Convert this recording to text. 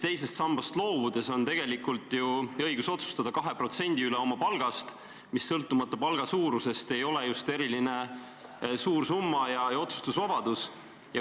Teisest sambast loobudes on neil tegelikult ju õigus otsustada 2% üle oma palgast, mis sõltumata palga suurusest ei ole just eriliselt suur summa ja otsustusvabadus.